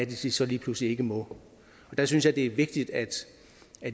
de så lige pludselig ikke må der synes jeg det er vigtigt at